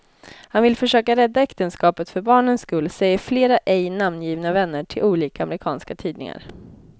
Han vill försöka rädda äktenskapet för barnens skull, säger flera ej namngivna vänner till olika amerikanska tidningar.